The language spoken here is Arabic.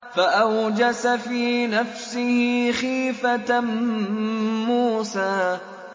فَأَوْجَسَ فِي نَفْسِهِ خِيفَةً مُّوسَىٰ